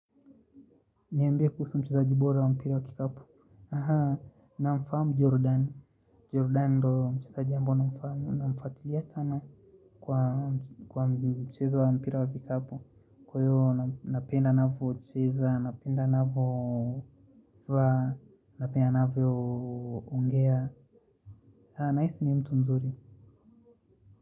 Niambie kuhusu mchezaji bora wa mpira wa kikapu, namfamu jordani jordani do mchezaji ambao namfuatilia sana kwa mchezo wa mpira wa kikapu. Kwa hiyo napenda anavyo ucheza, napenda anaavyo ongea, haa nihisi ni mtu mzuri.